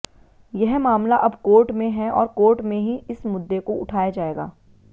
यह मामला अब कोर्ट में है और कोर्ट में ही इस मुद्दे को उठाया जाएगा